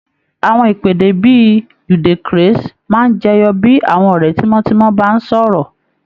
Àwọn ìpèdè bí i "you dey crase" máa ń jẹyọ bí àwọn ọ̀rẹ́ tímọ́tímọ́ bá ń sọ̀rọ̀